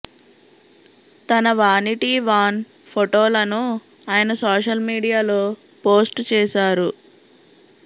తన vanity van ఫొటోలను ఆయన సోషల్ మీడియాలో పోస్ట్ చేశారు